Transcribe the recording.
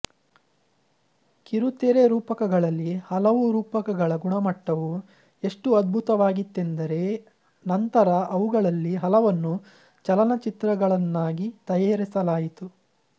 ಕಿರುತೆರೆ ರೂಪಕಗಳಲ್ಲಿ ಹಲವು ರೂಪಕಗಳ ಗುಣಮಟ್ಟವು ಎಷ್ಟು ಅದ್ಭುತವಾಗಿತ್ತೆಂದರೆ ನಂತರ ಅವುಗಳಲ್ಲಿ ಹಲವನ್ನು ಚಲನಚಿತ್ರಗಳನ್ನಾಗಿ ತಯಾರಿಸಲಾಯಿತು